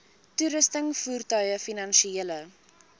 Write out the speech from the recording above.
toerusting voertuie finansiële